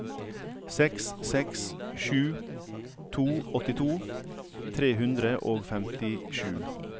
seks seks sju to åttito tre hundre og femtisju